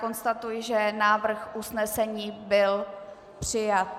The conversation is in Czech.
Konstatuji, že návrh usnesení byl přijat.